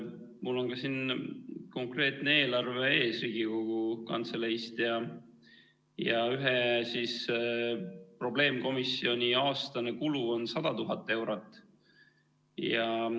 Mul on siin konkreetne eelarve ees Riigikogu Kantseleist ja ühe probleemkomisjoni aastane kulu on 100 000 eurot.